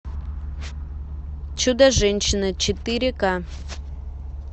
чудо женщина четыре ка